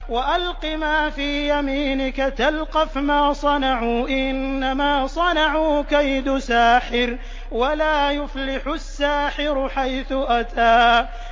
وَأَلْقِ مَا فِي يَمِينِكَ تَلْقَفْ مَا صَنَعُوا ۖ إِنَّمَا صَنَعُوا كَيْدُ سَاحِرٍ ۖ وَلَا يُفْلِحُ السَّاحِرُ حَيْثُ أَتَىٰ